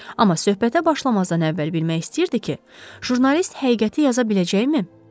Amma söhbətə başlamazdan əvvəl bilmək istəyirdi ki, jurnalist həqiqəti yaza biləcəkmi?